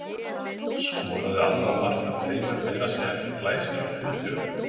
Skoraði annað markið af tveimur meira að segja með glæsilegum tilþrifum.